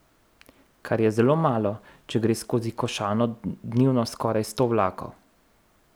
Kar je zelo malo, če gre skozi Košano dnevno skoraj sto vlakov.